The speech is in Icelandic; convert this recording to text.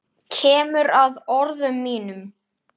Kemur að orðum mínum.